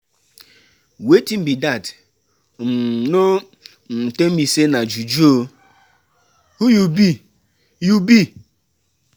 Wetin be dat, um no um tell me say na juju oo, who you be you be?